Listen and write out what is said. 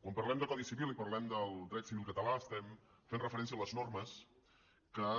quan parlem de codi civil i parlem del dret civil català estem fent referència a les normes que